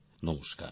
নমস্কার